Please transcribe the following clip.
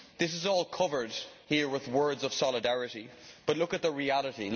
This is all covered here with words of solidarity, but look at the reality.